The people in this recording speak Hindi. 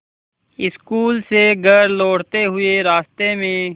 स्कूल से घर लौटते हुए रास्ते में